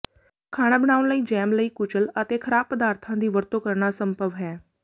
ਖਾਣਾ ਬਣਾਉਣ ਲਈ ਜੈਮ ਲਈ ਕੁਚਲ ਅਤੇ ਖਰਾਬ ਪਦਾਰਥਾਂ ਦੀ ਵਰਤੋਂ ਕਰਨਾ ਅਸੰਭਵ ਹੈ